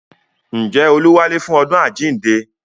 Ǹjẹ́ olú wálé fún ọdún àjíǹde